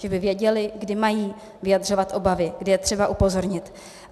Ti by věděli, kdy mají vyjadřovat obavy, kdy je třeba upozornit.